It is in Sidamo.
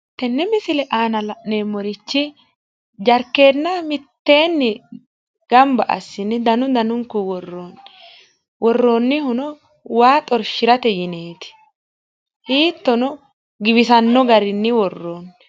tenne misile aana la'neemmorichi jarkeenna mitteenni gamba assine danu danunkunni worroonni, worroonnihuno waa xorshirate yineeti, hiittono giwisanno garinni worroonni.